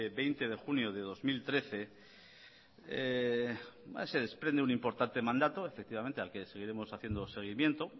veinte de junio de dos mil trece ahí se desprende un importante mandato efectivamente al que seguiremos haciendo seguimiento